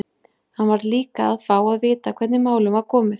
Hann varð líka að fá að vita hvernig málum var komið.